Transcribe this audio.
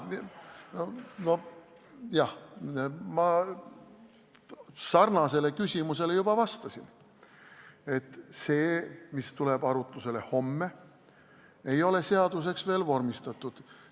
Jah, ma sarnasele küsimusele juba vastasin, et see, mis tuleb arutusele homme, ei ole seaduseks veel vormistatud.